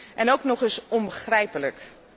En ook nog eens onbegrijpelijk.